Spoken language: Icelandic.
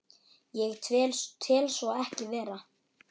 Ég tel svo ekki vera.